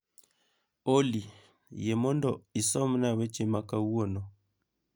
Olly yie mondo isomna weche ma kawuono